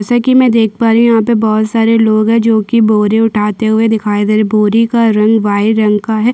जैसे की मैं यहाँ पे देख पा रही हु यहाँ पे बहोत सारे लोग है बोरी उठाते हुए दिखाई दे रहे है बोरी का रंग वाइट रंग का है।